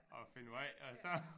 At finde vej og så